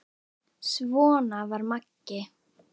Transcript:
Svona var Maggi.